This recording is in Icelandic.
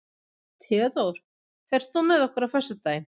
Theódór, ferð þú með okkur á föstudaginn?